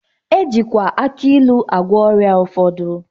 E jikwa aki ilu agwọ ọrịa ụfọdụ.